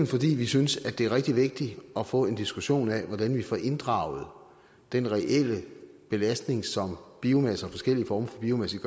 fordi vi synes at det er rigtig vigtigt at få en diskussion af hvordan vi får inddraget den reelle belastning som biomasse og forskellige former for biomasse